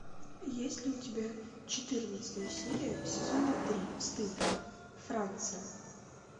есть ли у тебя четырнадцатая серия сезона три стыд франция